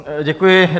Děkuji.